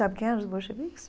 Sabe quem eram os bolcheviques?